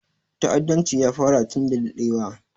Ta'addanci ya fara tun da daɗewa